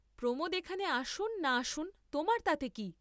প্রমোদ এখানে আসুন না আসুন তোমার তাতে কি?